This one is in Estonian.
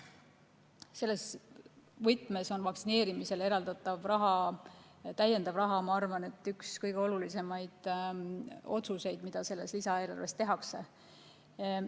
Selles võtmes on vaktsineerimisele eraldatav lisaraha minu arvates üks kõige olulisemaid otsuseid, mis selle lisaeelarve puhul tehakse.